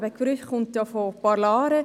Der Begriff kommt von «parlare».